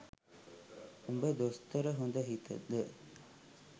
උඹ දොස්තර හොඳ හිතද